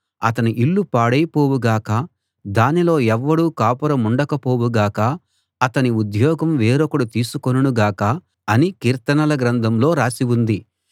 అతని ఇల్లు పాడైపోవు గాక దానిలో ఎవ్వడూ కాపురముండకపోవు గాక అతని ఉద్యోగం వేరొకడు తీసికొనును గాక అని కీర్తనల గ్రంథంలో రాసి ఉంది